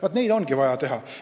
Vaat seda on vaja teha.